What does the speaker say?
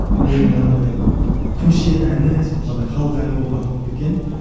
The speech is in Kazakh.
ол манағыдай көше әні сөйтіп андай халық әні болып аталып кеткен